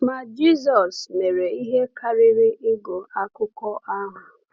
Ma Jisọs mere ihe karịrị ịgụ akụkọ ahụ.